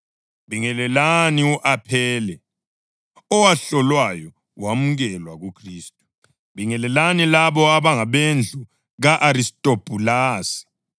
Bingelelani u-Aphele, owahlolwayo wamukelwa kuKhristu. Bingelelani labo abangabendlu ka-Aristobhulasi.